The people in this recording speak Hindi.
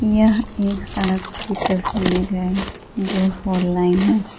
यह एक सड़क की तस्वीर है जो फोर लाइन है।